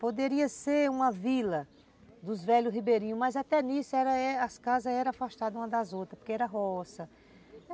Poderia ser uma vila dos velhos ribeirinhos, mas até nisso as casas eram afastadas umas das outras, porque era roça.